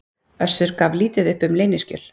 Össur gaf lítið uppi um leyniskjöl